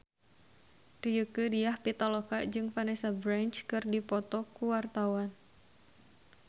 Rieke Diah Pitaloka jeung Vanessa Branch keur dipoto ku wartawan